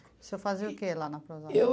O senhor fazia o que lá na Prozasco? Eu